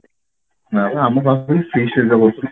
ନା ତ ଆମ